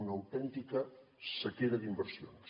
una autèntica sequera d’inversions